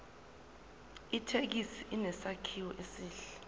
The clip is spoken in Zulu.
ithekisi inesakhiwo esihle